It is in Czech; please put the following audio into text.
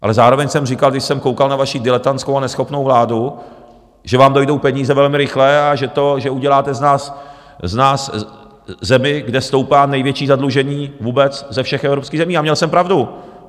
Ale zároveň jsem říkal, když jsem koukal na vaši diletantskou a neschopnou vládu, že vám dojdou peníze velmi rychle a že uděláte z nás zemi, kde stoupá největší zadlužení vůbec ze všech evropských zemí, a měl jsem pravdu.